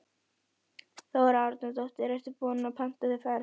Þóra Arnórsdóttir: Ertu búinn að panta þér ferð?